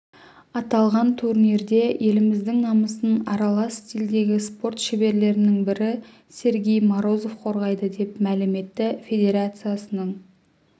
аталған турнирде еліміздің намысын аралас стильдегі спорт шеберлерінің бірі сергей морозов қорғайды деп мәлім етті федерациясының